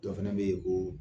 Dɔ fɛnɛ bɛ yen ko